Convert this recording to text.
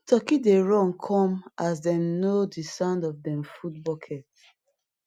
turkey dey run come as dem don know di sound of dem food bucket